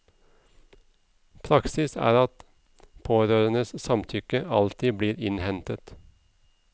Praksis er at pårørendes samtykke alltid blir innhentet.